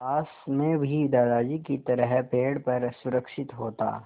काश मैं भी दादाजी की तरह पेड़ पर सुरक्षित होता